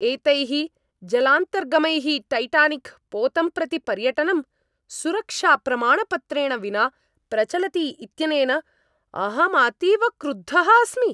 एतैः जलान्तर्गमैः टैटानिक् पोतं प्रति पर्यटनं, सुरक्षाप्रमाणपत्रेण विना प्रचलति इत्यनेन अहम् अतीव क्रुद्धः अस्मि।